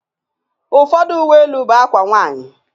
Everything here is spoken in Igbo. Ụfọdụ Uwe elu bụ akwa nwanyị